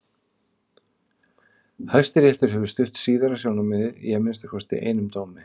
Hæstiréttur hefur stutt síðara sjónarmiðið í að minnsta kosti einum dómi.